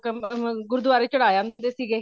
ਗੁਰਦੁਆਰੇ ਚੜਾ ਅੰਦੇ ਸੀਗੇ